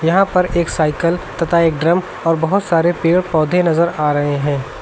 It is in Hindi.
यहां पर एक साइकल तथा एक ड्रम और बहोत सारे पेड़ पौधे नजर आ रहे हैं।